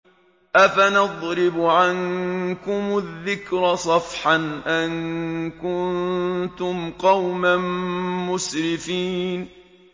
أَفَنَضْرِبُ عَنكُمُ الذِّكْرَ صَفْحًا أَن كُنتُمْ قَوْمًا مُّسْرِفِينَ